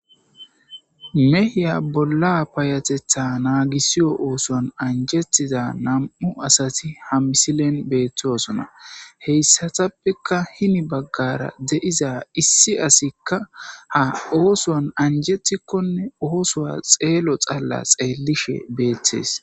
mehiya bolla payatetha naagisiyo oosoan anjetiza nam'u asati ha misilen beettosona heyssatappeka hini baggara de'iza issi asikka ha oosoan anjetikkonne oosowa xeelo xalla xeelishe beettees